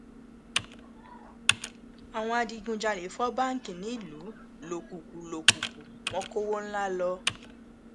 àwọn adigunjalè fọ báǹkì nílùú lòkùkù lòkùkù wọn kọwọ ńlá lọ